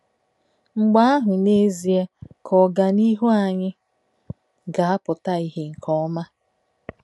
Mgbe ahụ, n'ezie, ka ọganihu anyị ga-apụta ìhè nke ọma.